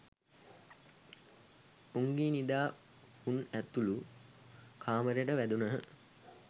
උංගී නිදා හුන් ඇතුළු කාමරයට වැදුනහ.